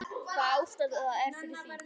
Hvaða ástæða er fyrir því?